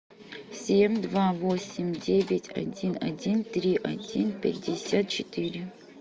семь два восемь девять один один три один пятьдесят четыре